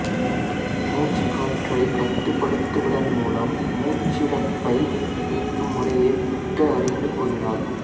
மூச்சு காற்றை கட்டுப்படுத்துவதன் மூலம் மூச்சிறைப்பை நீக்கும் முறையை புத்தர் அறிந்து கூறினார்